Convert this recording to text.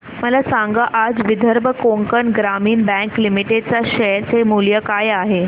मला सांगा आज विदर्भ कोकण ग्रामीण बँक लिमिटेड च्या शेअर चे मूल्य काय आहे